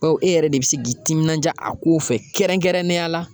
Bawo e yɛrɛ de bi se k'i timinanja a kow fɛ kɛrɛnkɛrɛnnenya la.